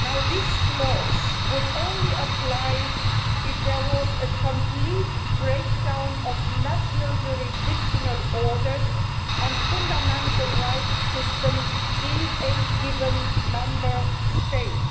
This clause would apply only if there were a complete breakdown of national jurisdictional orders and fundamental rights systems in a given Member State.